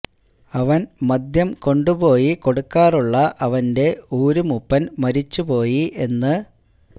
അവൻ മദ്യം കൊണ്ടുപോയി കൊടുക്കാറുള്ള അവൻ്റെ ഊര് മൂപ്പൻ മരിച്ചുപോയി എന്ന്